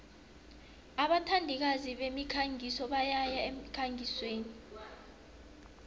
abathandikazi bemikhangiso bayaya emkhangisweni